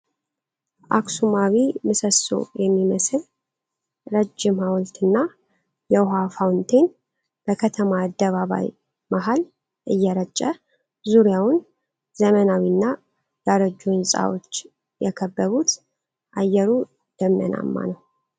አክሱማዊ ምሰሶ የሚመስል ረጅም ሐውልትና የውሃ ፋውንቴን በከተማ አደባባይ መሃል እየረጨ። ዙሪያውን ዘመናዊና ያረጁ ሕንፃዎች የከበቡት ፣ አየሩ ደመናማ ነው።